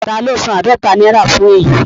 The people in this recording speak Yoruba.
Taló san àádọta náírà fún èyí?